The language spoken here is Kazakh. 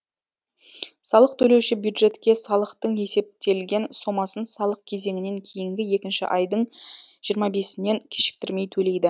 салық төлеуші бюджетке салықтың есептелген сомасын салық кезеңінен кейінгі екінші айдын жиырма бесінен кешіктірмей төлейді